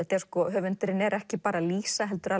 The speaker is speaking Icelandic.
höfundurinn er ekki bara að lýsa heldur